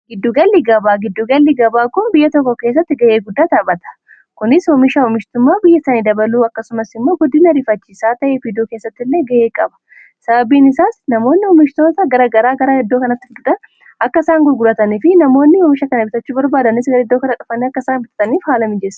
giddugalli gabaa giddugalli gabaa kun biyya tokko keessatti ga'ee guddaa taapata kunis homisha oomishtummaa biyya isanii dabaluu akkasumas immoo guddin ariifachi saa ta'ee biidoo keessatti illee ga'ee qaba sababiin isaas namoonni oomishtoota garagaraa garaa iddoo kanatti fuduta akka isaan gurguratanii fi namoonni hoomisha kan bitachuu barbaadanis gar iddoo kana dhufani akka isaan bitataniif haala mii jessa